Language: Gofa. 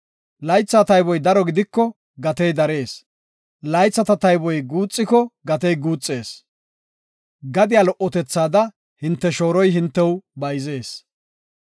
Laytha tayboy daro gidiko gatey darees; laythata tayboy guuxiko gatey guuxees. Gadiya lo77otethaada hinte shooroy hintew bayzees.